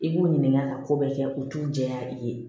I b'u ɲininka ka ko bɛɛ kɛ u t'u jɛ ya i ye